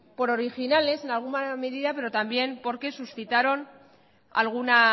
por originales en alguna medida pero también porque suscitaron